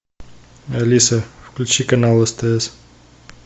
алиса включи канал стс